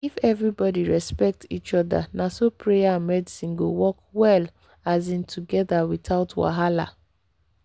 if everybody respect each other na so prayer and medicine go work well um together without wahala.